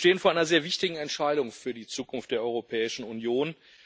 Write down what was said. Wir stehen vor einer sehr wichtigen Entscheidung für die Zukunft der Europäischen Union.